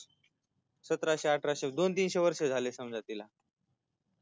सतराशे अठाराशे दोन तीनशे वर्षे झाली समजा तीला